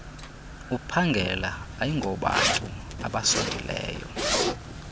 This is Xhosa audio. uphangela ayingobantu abasondeleyo